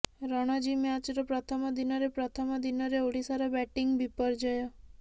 ରଣଜୀ ମ୍ୟାଚର ପ୍ରଥମ ଦିନରେ ପ୍ରଥମ ଦିନରେ ଓଡ଼ିଶାର ବ୍ୟାଟିଂ ବିପର୍ଯ୍ୟୟ